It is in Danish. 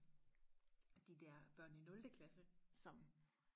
og de der børn i nulte klasse som